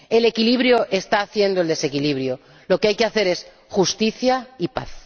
El equilibrio está haciendo el desequilibrio lo que hay que hacer es justicia y paz.